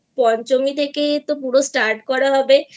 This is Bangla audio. পঞ্চমী থেকে পুরো Startকরা হবে